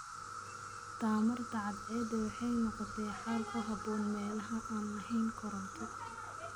Tamarta cadceedda waxay noqotay xal ku habboon meelaha aan lahayn koronto.